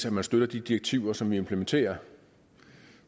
at man støtter de direktiver som vi implementerer